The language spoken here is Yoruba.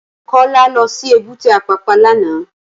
Kola lò si ébùté Apapa làná